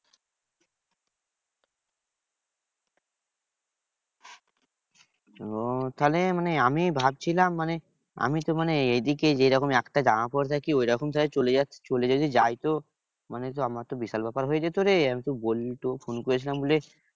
ওহ তাহলে মানে আমি ভাবছিলাম মানে আমি তো মানে এইদিকে যেরকম একটা জামা পরে থাকি ঐরকম তাহলে চলে যদি যাই। তো মানে আমার তো বিশাল ব্যাপার হয়ে যেত রে। আমি তো বললি তো ফোন করেছিলাম বলে